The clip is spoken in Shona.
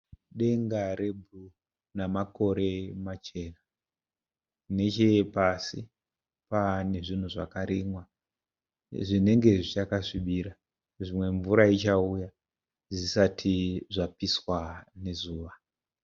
Denga rebhuruu namakore machena. Nechepasi pane zvinhu zvakarimwa zvinenge zvichakasvibira. Zvimwe mvura ichauya zvisati zvapiswa nezuva.